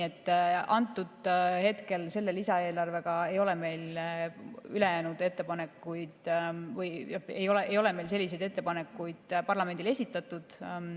Praeguse lisaeelarvega ei ole me selliseid ettepanekuid parlamendile esitanud.